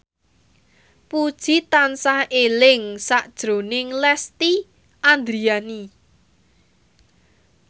Puji tansah eling sakjroning Lesti Andryani